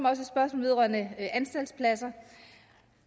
vedrørende anstaltspladser